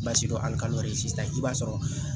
sisan i b'a sɔrɔ